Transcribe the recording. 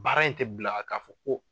Baara in tɛ bila k'a fɔ ko